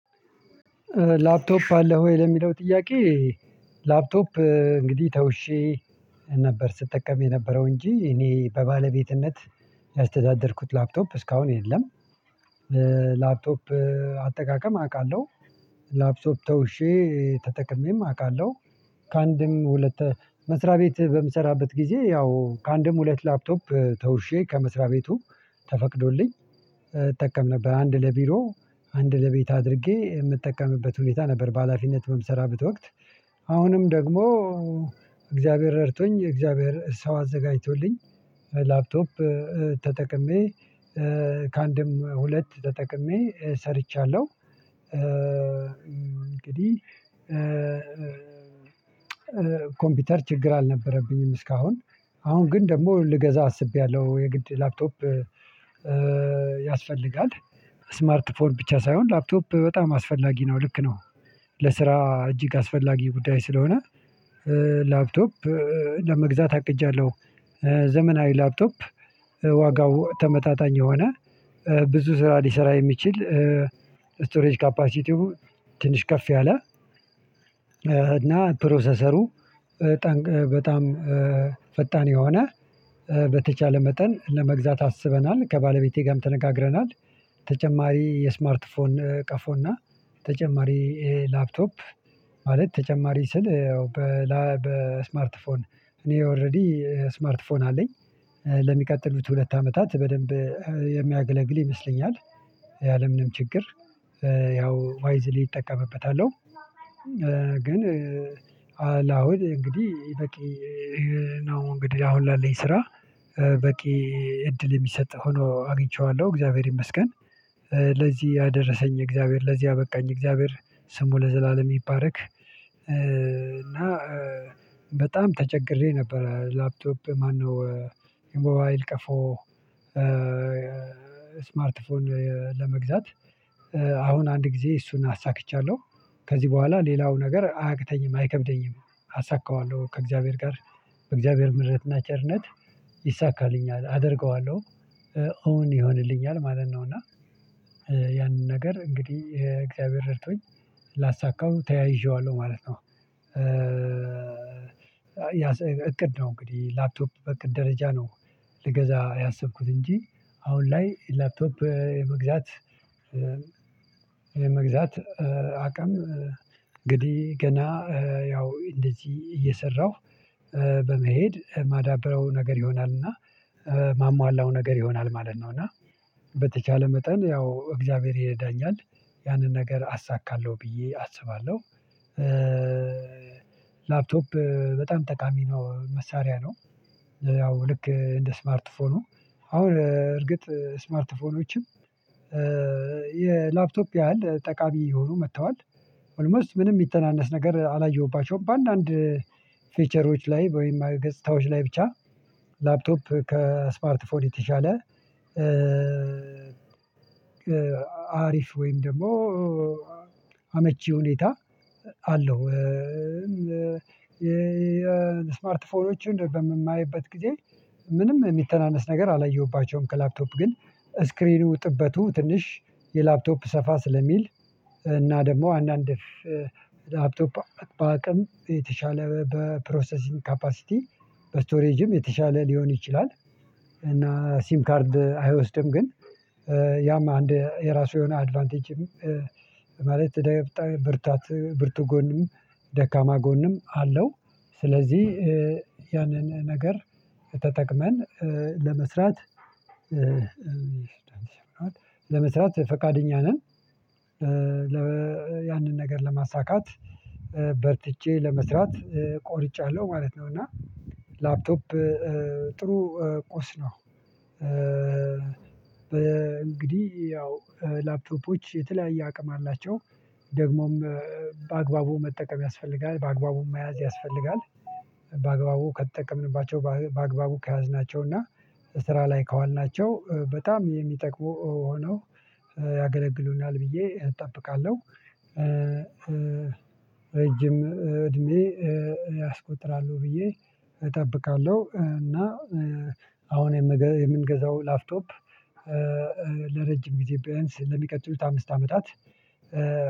ላፕቶፕ አለህ ወይ ለሚለው ጥያቄ? ላፕቶፕ እንግዲህ ተውሼ ነበር ስጠቀም የነበረው እንጂ እኔ በባለቤትነት ያስተዳደርኩት ላፕቶፕ እስካሁን የለም። ላፕቶፕ አጠቃቀም አውቃለሁ። ላፕቶፕ ተውሼ ተጠቅሜም አውቃለሁ። ከአንድም ሁለት መስሪያ ቤት በምሰራበት ጊዜ ያው ከአንድም ሁለት ላፕቶፕ ተውሼ ከመስሪያ ቤቱ ተፈቅዶልኝ እጠቀም ነበር አንድ ለቢሮ አንድ ለቤት አድርጌ የምጠቀምበት ሁኔታ ነበር በሃላፊነት በምሰራበት ወቅት። አሁንም ደግሞ እግዚአብሔር ረድቶኝ እግዚአብሔር ሰው አዘጋጅቶልኝ ላፕቶፕ ተጠቅሜ ከአንድም ሁለት ተጠቅሜ ሰርቻለሁ። እንግዲህ ኮምፒውተር ችግር አልነበረብኝም እስካሁን። አሁን ግን ደግሞ ልገዛ አስቤያለሁ የግድ ላፕቶፕ ያስፈልጋል ስማርት ፎን ብቻ ሳይሆን ላፕቶፕ በጣም አስፈላጊ ነው ልክ ነው ለስራ እጅግ አስፈላጊ ጉዳይ ስለሆነ ላፕቶፕ ለመግዛት አቅጃለሁ። ዘመናዊ ላፕቶፕ ዋጋው ተመጣጣኝ የሆነ ብዙ ስራ ሊሰራ የሚችል ስቶሬጅ ካፓሲቲው ትንሽ ከፍ ያለ እና ፕሮሰሰሩ በጣም ፈጣን የሆነ በተቻለ መጠን ለመግዛት አስበናል ከባለቤቴ ጋርም ተነጋግረናል። ተጨማሪ የስማርት ፎን ቀፎና ተጨማሪ ይሄ ላፕቶፕ ማለት ተጨማሪ ስል በስማርት ፎን እኔ ኦሬዲ ስማርት ስልክ አለኝ ለሚቀጥሉት ሁለት አመታት በደንብ የሚያገለግል ይመስለኛል ያለምንም ችግር ያው ዋይዝሊ እጠቀምበታለሁ። ግን ላሁን እንግዲህ በቂ ነው እንግዲህ አሁን ላለኝ ስራ በቂ እድል የሚሰጥ ሆኖ አግኝቼዋለሁ እግዚአብሔር ይመስገን። ለዚህ ያደረሰኝ እግዚአብሔር ለዚህ ያበቃኝ እግዚአብሔር ስሙ ለዘላለም ይባርክ። እና በጣም ተቸግሬ ነበር ላፕቶፕ ማነው የሞባይል ቀፎ ስማርት ፎን ለመግዛት አሁን አንድ ጊዜ እሱን አሳክቻለሁ ከዚህ በኋላ ሌላው ነገር አያቅተኝም አይከብደኝም። አሳካዋለሁ ከእግዚአብሔር ጋር በእግዚአብሔር ምህረትና ቸርነት ይሳካልኛል አደርገዋለሁ ኦን ይሆንልኛል ማለት ነው። እና ያንን ነገር እንግዲህ እግዚአብሔር ረድቶኝ ላሳካው ተያይዤዋለሁ ማለት ነው። እቅድ ነው እንግዲህ ላፕቶፕ በእቅድ ደረጃ ነው። ልገዛ ያሰብኩት እንጂ አሁን ላይ ላፕቶፕ የመግዛት የመግዛት አቅም እንግዲህ ገና ያው እንደዚህ እየሰራሁ በመሄድ ማዳብረው ነገር ይሆናልና ማሟላው ነገር ይሆናል ማለት ነው። እና በተቻለ መጠን ያው እግዚአብሔር ይረዳኛል ያንን ነገር አሳካለሁ ብዬ አስባለሁ። ላፕቶፕ በጣም ጠቃሚ ነው መሳሪያ ነው ያው ልክ እንደ ስማርትፎኑ አሁን እርግጥ ስማርትፎኖችም የላፕቶፕ ያህል ጠቃሚ የሆኑ መጥተዋል ኦልሞስት ምንም የሚተናነስ ነገር አላየሁባቸውም በአንዳንድ ፊውቸሮች ላይ ወይም ገጽታዎች ላይ ብቻ ላፕቶፕ ከስማርት ፎን የተሻለ አሪፍ ወይም ደግሞ አመቺ ሁኔታ አለው። የስማርት ስልኮችን በምናይበት ጊዜ ምንም የሚተናነስ ነገር አላየሁባቸውም ከላፕቶፕ ግን ስክሪኑ ጥበቱ ትንሽ የላፕቶፕ ሰፋ ስለሚል እና ደግሞ አንዳንድ ላፕቶፕ በአቅም የተሻለ በፕሮሰሲንግ ካፓሲቲ በስቶሬጅም የተሻለ ሊሆን ይችላል እና ሲም ካርድ አይወስድም ግን ያም አንድ የራሱ የሆነ አድቫንቴጅም ማለት በጣም ብርታት ብርቱ ጎንም ደካማ ጎንም አለው። ስለዚህ ያንን ነገር ተጠቅመን ለመስራት ለመስራት ፈቃደኛ ነን ያንን ነገር ለማሳካት በርትቼ ለመስራት ቆርጫለሁ ማለት ነው። እና ላፕቶፕ ጥሩ ቁስ ነው እንግዲህ ያው ላፕቶፖች የተለያየ አቅም አላቸው ደግሞም በአግባቡ መጠቀም ያስፈልጋል በአግባቡ መያዝ ያስፈልጋል። በአግባቡ ከተጠቀምንባቸው በአግባቡ ከያዝናቸው እና ስራ ላይ ከዋልናቸው በጣም የሚጠቅሙ ሆነው ብዬ እጠብቃለሁ ረጅም እድሜ ያስቆጥራሉ ብዬ እጠብቃለሁ። እና አሁን የምንገዛው ላፕቶፕ ለረጅም ጊዜ ቢያንስ ለሚቀጥሉት አምስት አመታት።